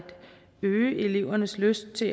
øge elevernes lyst til